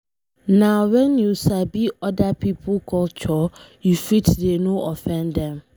Nah when you sabi other pipo culture, you fit dey no offend dem.